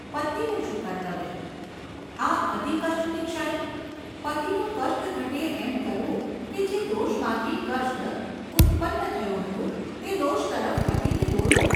પત્નીનું શું કર્તવ્ય ? આ અતિકષ્ટની ક્ષણે ? પતિનું કષ્ટ ઘટે એમ કરવું કે જે દોષમાંથી કષ્ટ ઉત્પન્ન થયું હતું તે દોષ તરફ પતિને દોરવો ?